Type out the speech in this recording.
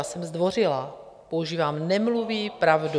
Já jsem zdvořilá, používám: Nemluví pravdu.